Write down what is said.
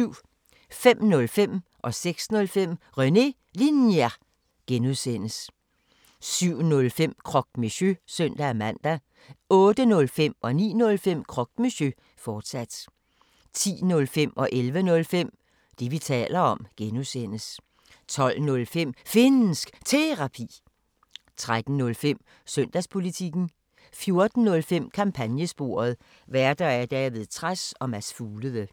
05:05: René Linjer (G) 06:05: René Linjer (G) 07:05: Croque Monsieur (søn-man) 08:05: Croque Monsieur, fortsat 09:05: Croque Monsieur, fortsat 10:05: Det, vi taler om (G) 11:05: Det, vi taler om (G) 12:05: Finnsk Terapi 13:05: Søndagspolitikken 14:05: Kampagnesporet: Værter: David Trads og Mads Fuglede